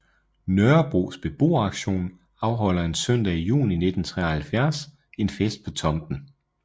Nørrebros Beboeraktion afholder en søndag i juni 1973 en fest på tomten